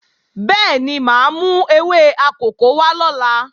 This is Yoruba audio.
Bẹ́ẹ̀ni, máa mú ewé akòko wá lọ́la